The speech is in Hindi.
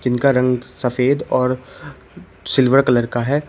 उनका रंग सफेद और सिल्वर कलर का है।